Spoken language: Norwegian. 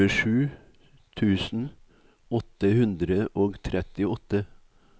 tjuesju tusen åtte hundre og trettiåtte